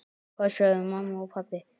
Hvað sögðu mamma og pabbi?